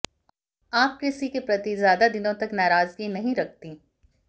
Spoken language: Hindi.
आप किसी के प्रति ज़्यादा दिनों तक नाराज़गी नहीं रखती